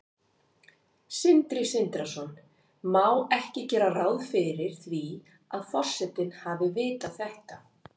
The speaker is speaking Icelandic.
Sindri Sindrason: Má ekki gera ráð fyrir því að forsetinn hafi vitað þetta?